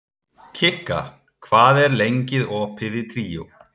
Kikka, hvað er lengi opið í Tríó?